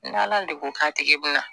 N' ala de k'a tigi na